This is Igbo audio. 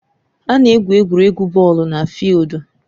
A na-egwu egwuregwu bọọlụ na fịịldu